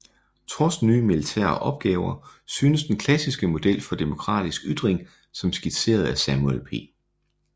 Trods nye militære opgaver synes den klassiske model for demokratisk styring som skitseret af Samuel P